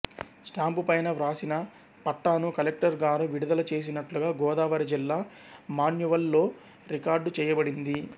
స్టాంపుపైన వ్రాసి న పట్టాను కలెక్టరుగారు విడుదల చేసినట్లుగా గోదావరి జిల్లా మాన్యువల్ లో రికార్డు చేయబడింది